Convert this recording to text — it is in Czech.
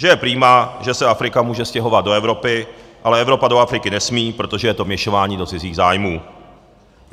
Že je prima, že se Afrika může stěhovat do Evropy, ale Evropa do Afriky nesmí, protože je to vměšování do cizích zájmů.